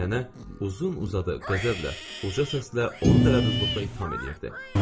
Nənə uzun uzadı, qəzəblə, uca səslə onu dərəduzluqla ittiham eləyirdi.